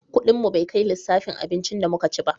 Kudin mu bai kai lissafin abincin da mu ka ci ba